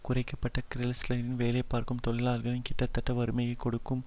குறைக்க பட்ட கிறைஸ்லரில் வேலைபார்ககும் தொழிலாளிகள் கிட்டத்தட்ட வறுமையை கொடுக்கும்